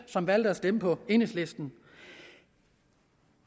som valgte at stemme på enhedslisten